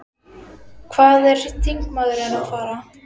Hvað er þingmaðurinn að fara?